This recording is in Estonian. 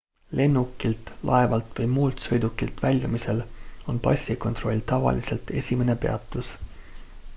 lennukilt laevalt või muult sõidukilt väljumisel on passikontroll tavaliselt esimene peatus